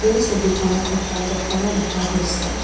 এই ছবিখনত এটা জখলা দেখা হৈছে।